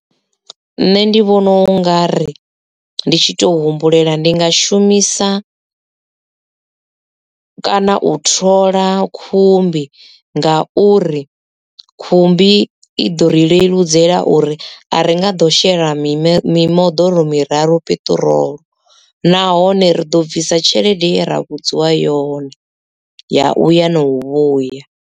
Nṋe ndi vhona u nga ri ndi tshi to humbulela ndi nga shumisa kana u thola khumbi ngauri khumbi i ḓo ri leludzela uri a ri nga ḓo shela mime mimoḓoro miraru peṱirolo nahone ri ḓo bvisa tshelede ye ra vhudziwa yone ya uya na u vhuya.